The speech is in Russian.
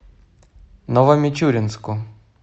новомичуринску